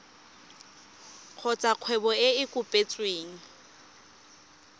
kgotsa kgwebo e e kopetsweng